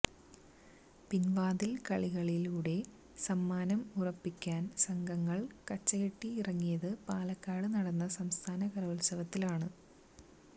പിൻവാതിൽ കളികളിലൂടെ സമ്മാനം ഉറപ്പിക്കാൻ സംഘങ്ങൾ കച്ചകെട്ടി ഇറങ്ങിയത് പാലക്കാട്ട് നടന്ന സംസ്ഥാന കലോൽസവത്തിലാണ്